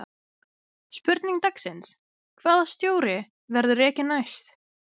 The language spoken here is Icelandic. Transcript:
Spurning dagsins: Hvaða stjóri verður rekinn næst?